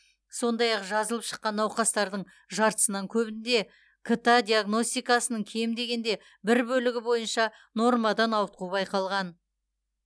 сондай ақ жазылып шаққан науқастардың жартысынан көбінде кт диагностикасының кем дегенде бір бөлігі бойынша нормадан ауытқу байқалған